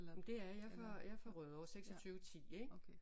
Men det er jeg jeg er fra Rødovre 26 10 ik